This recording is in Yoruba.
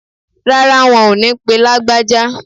Rárá, wọn ò ní pe Lágbájá.